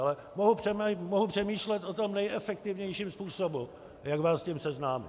Ale mohu přemýšlet o tom nejefektivnějším způsobu, jak vás s tím seznámit.